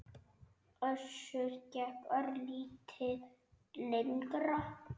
Össur gekk örlítið lengra.